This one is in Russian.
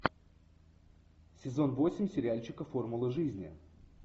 сезон восемь сериальчика формула жизни